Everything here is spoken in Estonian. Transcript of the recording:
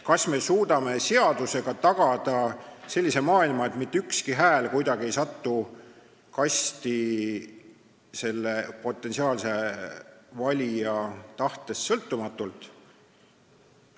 Kas me suudame seadusega tagada sellise maailma, et mitte ükski hääl kunagi ei satu kasti potentsiaalse valija tahtest sõltumatult?